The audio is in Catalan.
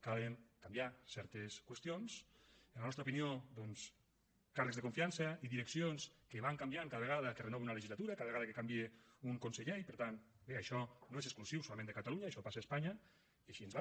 cal canviar certes qüestions en la nostra opinió doncs càrrecs de confiança i direccions que van canviant cada vegada que es renova una legislatura cada vegada que canvia un conseller i per tant bé això no és exclusiu solament de catalunya això passa a espanya i així ens va